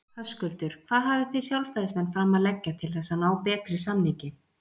Höskuldur: Hvað hafið þið sjálfstæðismenn fram að leggja til þess að ná betri samningi?